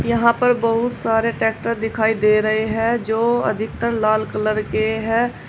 यहां पर बहुत सारे ट्रैक्टर दिखाई दे रहे हैं जो अधिकतर लाल कलर के हैं।